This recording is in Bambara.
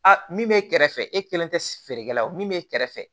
A min bɛ kɛrɛfɛ e kelen tɛ feerekɛla ye min bɛ kɛrɛfɛ